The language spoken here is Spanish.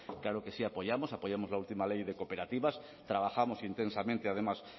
claro que sí apoyamos apoyamos la última ley de cooperativas trabajamos intensamente además